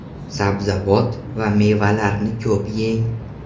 Sabzavot va mevalarni ko‘p yeng.